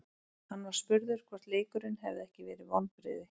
Hann var spurður hvort leikurinn hefði ekki verið vonbrigði.